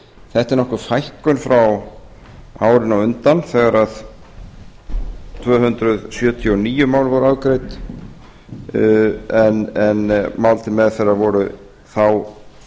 þetta er nokkur fækkun frá árinu á undan þegar tvö hundruð sjötíu og níu mál voru afgreidd en mál til meðferðar voru þá